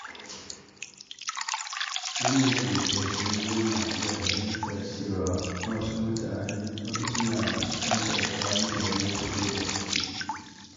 Wanda ke da tausayi yana iya fahimtar cewa wasu suna fuskantar ƙalubale fiye da shi.